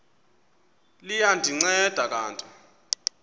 liya ndinceda kanti